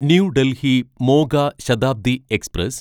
new Delhi Moga Shatabdi express